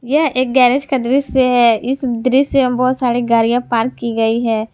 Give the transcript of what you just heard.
यह एक गैरेज का दृश्य है इस दृश्य में बहुत सारे गाड़ियां पार्क की गई हैं।